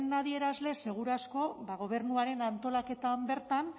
adierazle seguru asko ba gobernuaren antolaketan bertan